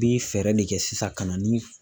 Bi fɛɛrɛ de kɛ sisan ka na ni